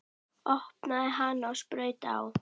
Opnaði hana og saup á.